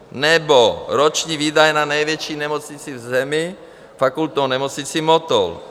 Nebo roční výdaje na největší nemocnici v zemi, Fakultní nemocnici Motol.